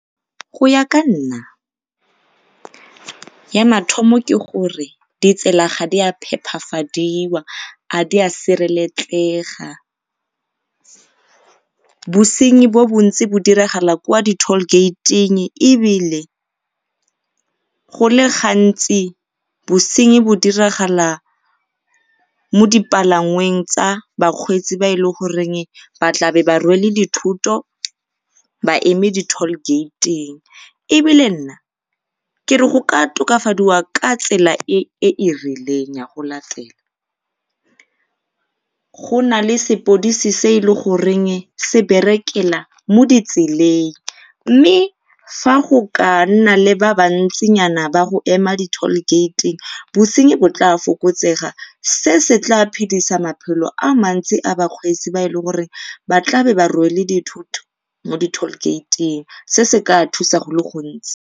Go ya ka nna ya mathomo ke gore ditsela ga di a phepafadiwa ga di a sireletsega, bosenyi bo bontsi bo diragala kwa di tall gate-ing ebile go le gantsi bosenyi bo diragala mo dipalangweng tsa bakgweetsi ba e goreng ba tlabe ba rwele dithoto ba eme di tall gate-ing ebile nna kere go ka tokafadiwa ka tsela e e rileng ya go latela. Go nale sepodisi se e le goreng se berekela mo ditseleng, mme fa go ka nna le ba bantsinyana ba go ema di-tall gate-ing bosenyi bo tla fokotsega se se tla phedisa maphelo a bakgweetsi ba le bantsi ba tlabeng ba rwele dithoto mo di-tall gate-ing se se tla thusa go le gontsi.